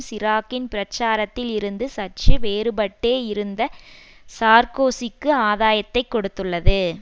சிராக்கின் பிரச்சாரத்தில் இருந்து சற்று வேறுபட்டே இருந்த சார்கோசிக்கு ஆதாயத்தை கொடுத்துள்ளது